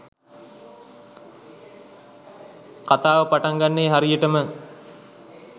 කතාව පටන් ගන්නේ හරියටම.